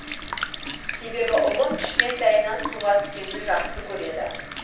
себебі ұлым кішкентайынан суға түскенді жақсы көреді